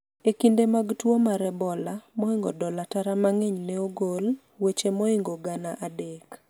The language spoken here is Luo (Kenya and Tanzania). e kinde mag tuo mar ebola, moingo dola tara mang'eny ne ogol, weche moingo gana adek